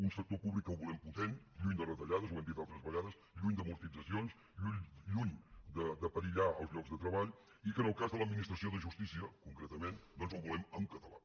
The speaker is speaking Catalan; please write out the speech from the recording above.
un sector públic que el volem potent lluny de retallades ho hem dit altres vegades lluny d’amortitzacions lluny de perillar els llocs de treball i que en el cas de l’administració de justícia concretament doncs el volem en català